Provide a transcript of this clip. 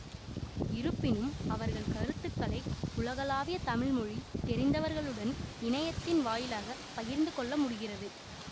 இருப்பினும் அவர்கள் கருத்துக்களை உலகளாவிய தமிழ் மொழி தெரிந்தவர்களுடன் இணையத்தின் வாயிலாகப் பகிர்ந்து கொள்ள முடிகிறது